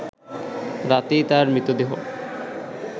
রাতেই তার মৃতদেহ